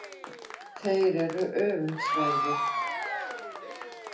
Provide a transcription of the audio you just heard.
Þeir eru öfundsverðir.